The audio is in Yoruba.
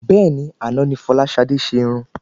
Bẹ́ẹ̀ni, àná ni fọláṣadé se Irun